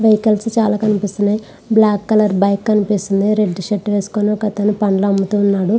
Vehicles చాలా కనిపిస్తున్నాయి. Black colour bike కనిపిస్తుంది. రెడ్ కలర్ షర్ట్ వేసుకొని ఒక అతను పళ్ళు అమ్ముతున్నాడు.